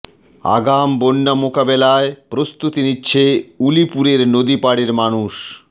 আগাম বন্যা মোকাবেলায় প্রস্তুতি নিচ্ছে উলিপুরের নদী পাড়ের মানুষ